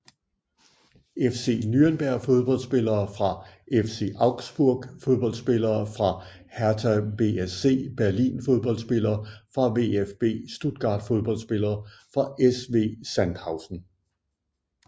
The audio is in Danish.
FC Nürnberg Fodboldspillere fra FC Augsburg Fodboldspillere fra Hertha BSC Berlin Fodboldspillere fra VfB Stuttgart Fodboldspillere fra SV Sandhausen